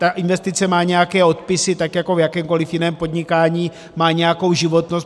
Ta investice má nějaké odpisy tak jako v jakémkoliv jiném podnikání, má nějakou životnost.